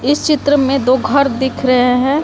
इस चित्र में दो घर दिख रहे हैं।